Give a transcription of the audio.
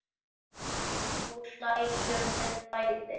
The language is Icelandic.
Og nú hlæjum við bæði.